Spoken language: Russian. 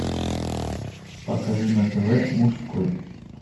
покажи на тв мужской